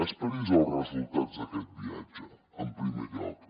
esperi els resultats d’aquest viatge en primer lloc